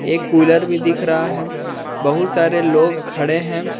एक कूलर भी दिख रहा है बहुत सारे लोग खड़े हैं।